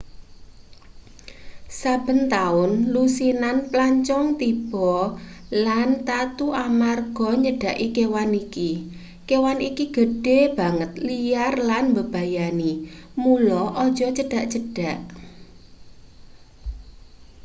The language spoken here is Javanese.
saben taun lusinan plancong tiba lan tatu amarga nyedhaki kewan iki kewan iki gedhe banget liar lan mbebayani mula aja cedhak-cedhak